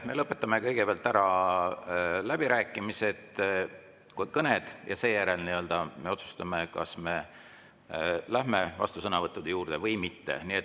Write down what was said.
Me lõpetame kõigepealt ära läbirääkimiste kõned ja seejärel otsustame, kas me lähme vastusõnavõttude juurde või mitte.